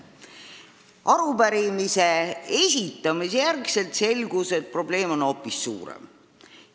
Pärast arupärimise esitamist selgus, et probleem on hoopis suurem.